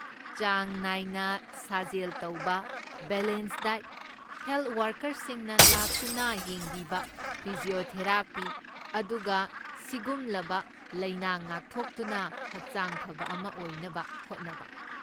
ꯆꯥꯡ ꯅꯥꯏꯅ ꯁꯥꯖꯦꯜ ꯇꯧꯕ, ꯕꯦꯂꯦꯟꯁ ꯗꯥꯏꯠ, ꯍꯦꯜꯊ ꯋꯔꯀꯔꯁꯤꯡꯅ ꯂꯥꯛꯇꯨꯅ ꯌꯦꯡꯕꯤꯕ, ꯐꯤꯖꯤꯑꯣꯊꯦꯔꯥꯄꯤ, ꯑꯗꯨꯒ ꯁꯤꯒꯨꯝꯂꯕ ꯂꯥꯏꯅꯥ ꯉꯥꯛꯊꯣꯛꯇꯨꯅ ꯍꯛꯆꯥꯡ ꯐꯕ ꯑꯃ ꯑꯣꯏꯅꯕ ꯍꯣꯠꯅꯕ꯫